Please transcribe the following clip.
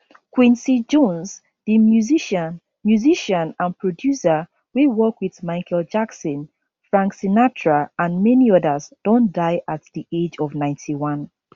quincy jones di musician musician and producer wey work wit michael jackson frank sinatra and many odas don die at di age of 91